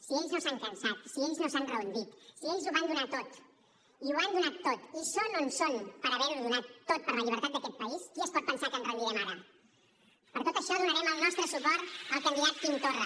si ells no s’han cansat si ells no s’han rendit si ells ho van donar tot i ho han donat tot i són on són per haver ho donat tot per la llibertat d’aquest país qui es pot pensar que ens rendirem ara per tot això donarem el nostre suport al candidat quim torra